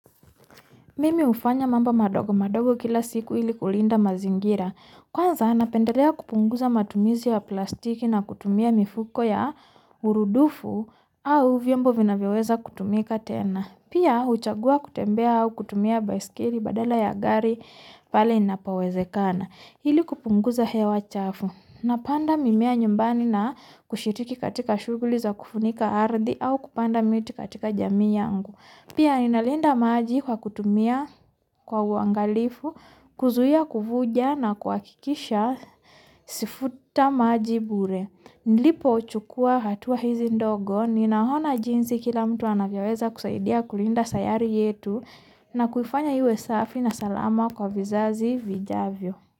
Mimi hufanya mambo madogo. Madogo kila siku ili kulinda mazingira. Kwanza, napendelea kupunguza matumizi ya plastiki na kutumia mifuko ya urudufu a vyombo vinavyoweza kutumika tena. Pia huchagua kutembea au kutumia baiskeli badala ya gari. Pale inapowezekana. Ili kupunguza hewa chafu. Napanda mimea nyumbani na kushiriki katika shughuli za kufunika ardhi au kupanda miti katika jamii yangu. Pia ninalinda maji kwa kutumia kwa uangalifu. Kuzuia kuvuja na kwa kuhakikisha sifuta maji bure. Nilipo chukua hatuwa hizi ndogo. Ninaona jinsi kila mtu anavyoweza kusaidia kulinda sayari yetu. Na kuifanya iwe safi na salama kwa vizazi vijavyo.